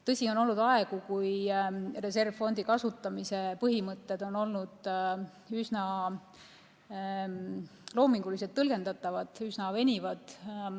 Tõsi, on olnud aegu, kui reservfondi kasutamise põhimõtted on olnud üsna loominguliselt tõlgendatavad, üsna venivad.